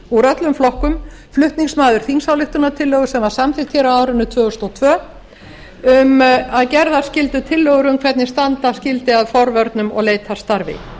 úr öllum flokkum flutningsmaður þingsályktunartillögu sem var samþykkt hér á árinu tvö þúsund og tvö um að gerðar skyldu tillögur um hvernig standa skyldi að forvörnum og leitarstarfi